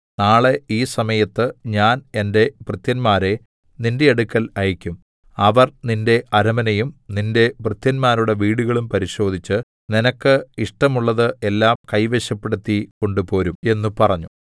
നാളെ ഈ സമയത്ത് ഞാൻ എന്റെ ഭൃത്യന്മാരെ നിന്റെ അടുക്കൽ അയക്കും അവർ നിന്റെ അരമനയും നിന്റെ ഭൃത്യന്മാരുടെ വീടുകളും പരിശോധിച്ച് നിനക്ക് ഇഷ്ടമുള്ളത് എല്ലാം കൈവശപ്പെടുത്തി കൊണ്ടുപോരും എന്ന് പറഞ്ഞു